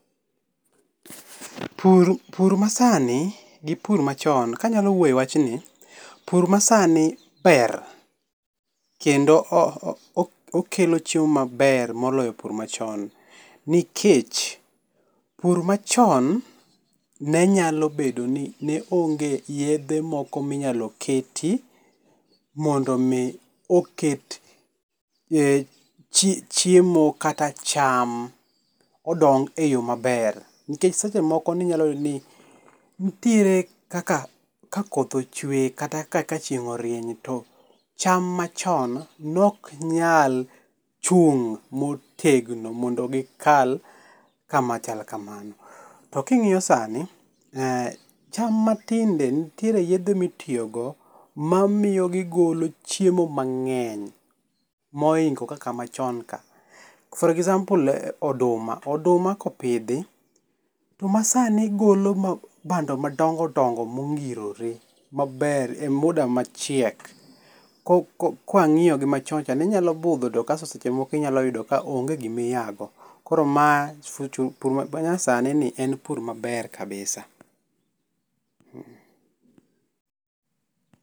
Pur ma sani, gi pur machon, kanyalo wuoyo e wachni, pur ma sani ber kendo okelo chiemo maber moloyo pur machon, nikech, pur machon nenyalo bedo ni neonge yiedhe moko minyalo keti mondo mi oket chiemo kata cham odong e yo maber, nikech seche moko ninyalo yudo ni nitiere kaka ka koth ochwe kata ka kachieng'orieny to cham machon noknyal chung'motegno mondo gikal kama chal kamano. To kingíyo sani, cham matinde nitie yiedhe mitiyogo mamiyo gigolo chiemo mangény mohingo kaka machon ka for example oduma, oduma kopidhi, to masani golo bando madongodongo mongirore maber, e muda ma chiek kwangíyo gi machon cha nenyalo budho to kasto seche moko inyalo yudo ka onge gima iya go. Koro ma pur manyasani ni en pur maber kabisa.